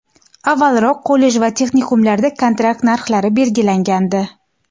avvalroq kollej va texnikumlarda kontrakt narxlari belgilangandi.